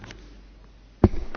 Pani Przewodnicząca!